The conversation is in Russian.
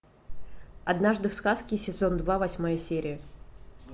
однажды в сказке сезон два восьмая серия